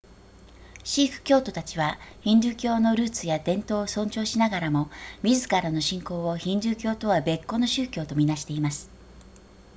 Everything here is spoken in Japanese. シーク教徒たちはヒンドゥー教のルーツや伝統を尊重しながらも自らの信仰をヒンドゥー教とは別個の宗教と見なしてます